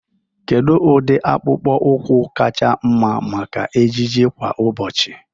Kedu ụdị akpụkpọ ụkwụ kacha mma maka ejiji kwa ụbọchị?